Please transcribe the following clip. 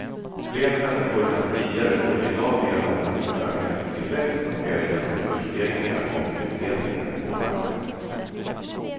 Fler människor än tidigare får i dag del av den förmögenhetstillväxt som sker genom kursstegringar och utdelningar på aktier.